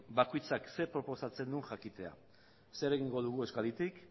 bakoitzak zer proposatzen duen jakitea zer egingo dugu euskaditik